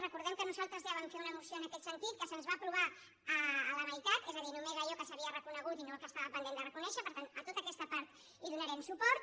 recordem que nosaltres ja vam fer una moció en aquest sentit que se’ns en va aprovar la meitat és a dir només allò que s’havia reconegut i no el que estava pendent de reconèixer per tant a tota aquesta part hi donarem suport